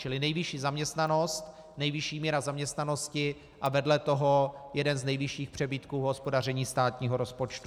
Čili nejvyšší zaměstnanost, nejvyšší míra zaměstnanosti a vedle toho jeden z nejvyšších přebytků v hospodaření státního rozpočtu.